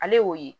Ale y'o ye